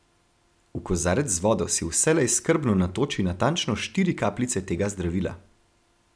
V kozarec z vodo si vselej skrbno natoči natančno štiri kapljice tega zdravila.